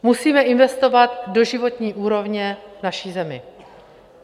Musíme investovat do životní úrovně naší země.